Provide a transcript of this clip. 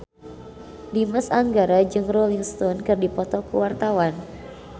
Dimas Anggara jeung Rolling Stone keur dipoto ku wartawan